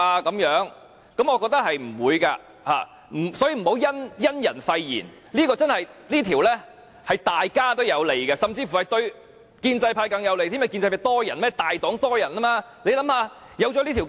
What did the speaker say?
我認為是不會的，所以不要因人廢言，這項修訂對大家也有利，甚至乎對建制派更有利，因為建制派有很多議員，他們是大黨。